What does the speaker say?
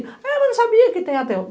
Ah eu não sabia que tem